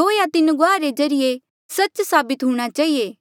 दो या तीन गुआहा रे ज्रीए सच्च साबित हूणा चहिए